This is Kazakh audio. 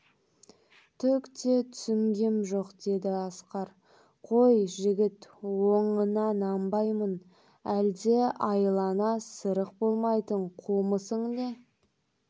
түк те түсінгем жоқ деді асқар қой жігіт оныңа нанбаймын әлде айлаңа сырық бойламайтын қумысың не